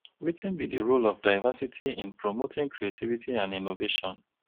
wetin be di role of diversity in promoting creativity and innovation?